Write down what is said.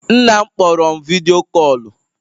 Nna m kpọrọ m vidyo kọlụ